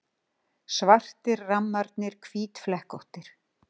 Svartir rammarnir hvítflekkóttir.